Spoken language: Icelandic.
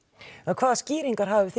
hvaða skýringar hafið þið